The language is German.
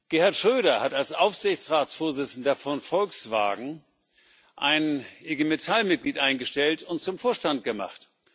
Gerhard Schröder hat als Aufsichtsratsvorsitzender von Volkswagen ein IG Metall Mitglied eingestellt und zum Vorstand gemacht.